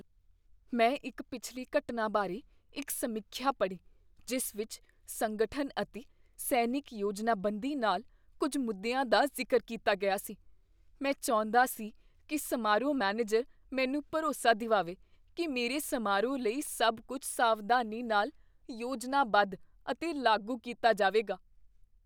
ਮੈਂ ਇੱਕ ਪਿਛਲੀ ਘਟਨਾ ਬਾਰੇ ਇੱਕ ਸਮੀਖਿਆ ਪੜ੍ਹੀ ਜਿਸ ਵਿੱਚ ਸੰਗਠਨ ਅਤੇ ਸੈਨਿਕ ਯੋਜਨਾਬੰਦੀ ਨਾਲ ਕੁੱਝ ਮੁੱਦਿਆਂ ਦਾ ਜ਼ਿਕਰ ਕੀਤਾ ਗਿਆ ਸੀ। ਮੈਂ ਚਾਹੁੰਦਾ ਸੀ ਕੀ ਸਮਾਰੋਹ ਮੈਨੇਜਰ ਮੈਨੂੰ ਭਰੋਸਾ ਦਿਵਾਵੇ ਕੀ ਮੇਰੇ ਸਮਾਰੋਹ ਲਈ ਸਭ ਕੁੱਝ ਸਾਵਧਾਨੀ ਨਾਲ ਯੋਜਨਾਬੱਧ ਅਤੇ ਲਾਗੂ ਕੀਤਾ ਜਾਵੇਗਾ।